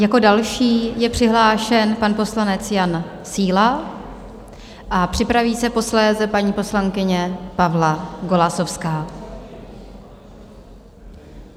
Jako další je přihlášen pan poslanec Jan Síla a připraví se posléze paní poslankyně Pavla Golasowská.